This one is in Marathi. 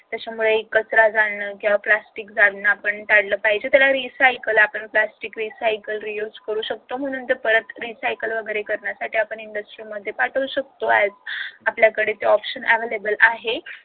त्याच्यामुळं कचरा जाळणे plastic जाळणे आपण टाळलं पाहिजे त्याला recycle आपण plastic recycle reuse करू शकतो म्हणून तर परत recycle करण्यासाठी आपण industry मध्ये पाठवू शकतो आपल्याकडे ते option available आहे